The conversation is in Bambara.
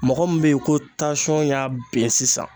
Mɔgɔ min be ye ko tasɔn y'a ben sisan